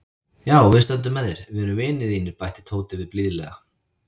Já, við stöndum með þér, við erum vinir þínir bætti Tóti við blíðlega.